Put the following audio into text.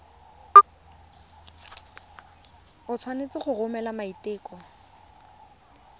o tshwanetse go romela maiteko